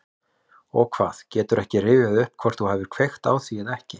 Og hvað, geturðu ekki rifjað upp hvort þú hafir kveikt á því eða ekki?